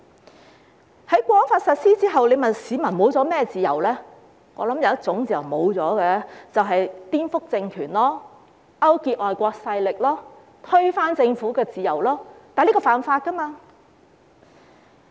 在《香港國安法》實施後，如果問市民失去了甚麼自由，我想有一種自由失去了，便是顛覆政權、勾結外國勢力、推翻政府的自由，但這是犯法的。